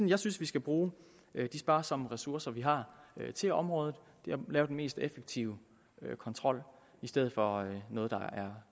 jeg synes vi skal bruge de sparsomme ressourcer vi har til området ved at lave den mest effektive kontrol i stedet for noget der er